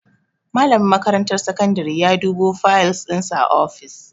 Malamin makarantar sakandare ya dubo fayal dinsa a ofis.